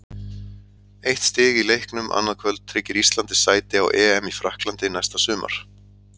Eitt stig í leiknum annað kvöld tryggir Íslandi sæti á EM í Frakklandi næsta sumar.